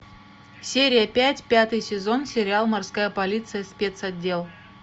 серия пять пятый сезон сериал морская полиция спецотдел